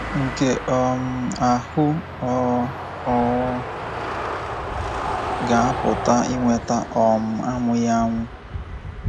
Nke um ahụ ọ̀ ọ̀ ga-apụta inweta um anwụghị anwụ.